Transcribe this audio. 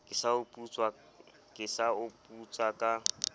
ke sa o putsa ka